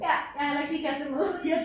Ja jeg har heller ikke lige kastet mig ud